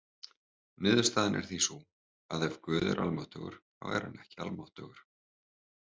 Niðurstaðan er því sú að ef Guð er almáttugur þá er hann ekki almáttugur.